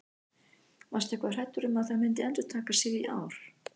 Varstu eitthvað hræddur um að það myndi endurtaka sig í ár?